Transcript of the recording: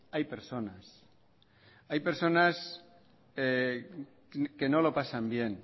hay personas hay personas que no lo pasan bien